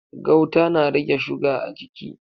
Gauta na rage shuga a jiki.